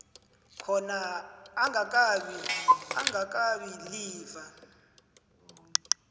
khona angakabi ilifa